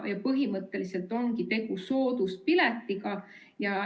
Põhimõtteliselt ongi tegu sooduspiletiga.